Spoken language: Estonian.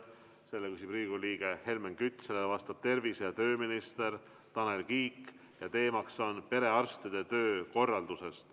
Selle küsib Riigikogu liige Helmen Kütt, sellele vastab tervise‑ ja tööminister Tanel Kiik ja teema on perearstide töökorraldus.